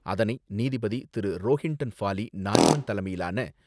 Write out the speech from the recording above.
அதனை நீதிபதி திரு.ரோஹின்டன் பாஃலி நாரிமன் தலைமையிலான,